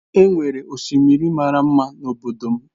E nwere osimiri mara mma n’obodo m.